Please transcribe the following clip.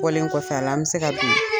Bɔlen kɔfɛ a la, an bi se ka bin.